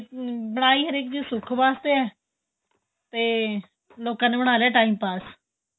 ਬਣਾਈ ਹਰੇਕ ਚੀਜ ਸੁੱਖ ਵਾਸਤੇ ਤੇ ਲੋਕਾਂ ਨੇ ਬਣਾਲਿਆਂ time pass